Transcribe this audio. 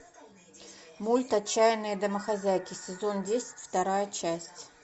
мульт отчаянные домохозяйки сезон десять вторая часть